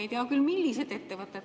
Ei tea küll, millised ettevõtted.